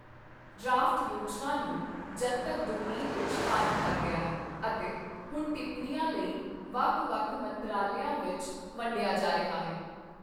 Draft ਯੋਜਨਾ ਨੂੰ ਜਨਤਕ ਡੋਮੇਨ ਵਿੱਚ ਪਾ ਦਿੱਤਾ ਗਿਆ ਹੈ ਅਤੇ ਹੁਣ ਟਿੱਪਣੀਆਂ ਲਈ ਵੱਖ ਵੱਖ ਮੰਤਰਾਲਿਆਂ ਵਿੱਚ ਵੰਡਿਆ ਜਾ ਰਿਹਾ ਹੈ।